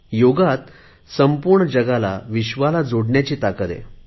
योगात संपूर्ण जगाला जोडण्याची ताकद आहे